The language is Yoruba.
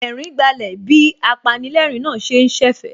Ẹ̀rín gbálẹ̀ bí apanilẹ́ẹ̀rín náà ṣe ń ṣẹ̀fẹ̀